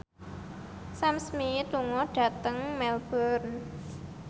Sam Smith lunga dhateng Melbourne